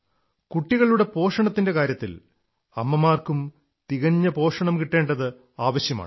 കുട്ടികളുടെ പോഷണത്തിന്റെ കാര്യത്തിൽ അമ്മമാർക്കും തികഞ്ഞ പോഷണം കിട്ടേണ്ടത് ആവശ്യമാണ്